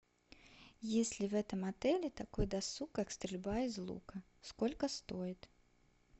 есть ли в этом отеле такой досуг как стрельба из лука сколько стоит